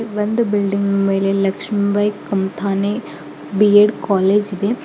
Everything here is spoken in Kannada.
ಒಂದು ಬಿಲ್ಡಿಂಗ್ ಮೇಲೆ ಲಕ್ಷ್ಮಿಬಾಯಿ ಕಂಥಾನೆ ಬಿ-ಎಡ್ ಕಾಲೇಜ್ ಇದೆ.